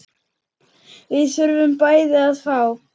Við þurfum bæði að fá.